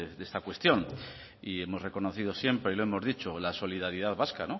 de esta cuestión y hemos reconocido siempre y lo hemos dicho la solidaridad vasca